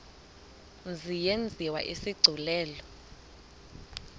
mzi yenziwe isigculelo